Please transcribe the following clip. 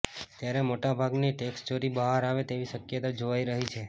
ત્યારે મોટાભાગની ટેક્સચોરી બહાર આવે તેવી શકયતા જોવાઈ રહી છે